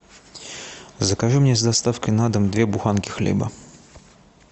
закажи мне с доставкой на дом две буханки хлеба